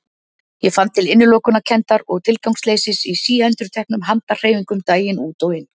Ég fann til innilokunarkenndar og tilgangsleysis í síendurteknum handahreyfingum daginn út og inn.